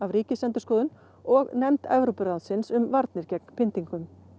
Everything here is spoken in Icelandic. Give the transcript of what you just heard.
Ríkisendurskoðun og nefnd Evrópuráðsins um varnir gegn pyntingum